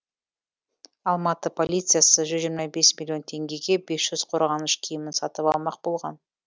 алматы полициясы жүз жиырма бес миллион теңгеге бес жүз қорғаныш киімін сатып алмақ болған